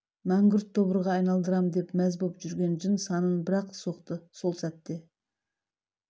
мәңгүрт тобырға айналдырдым деп мәз болып жүрген жын санын бір-ақ соқты сол сәтте